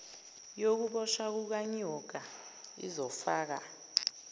yokuboshwa kukanyoka izofaka